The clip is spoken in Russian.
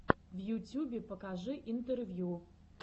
в ютюбе покажи интервью